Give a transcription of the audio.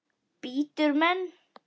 Bítur menn?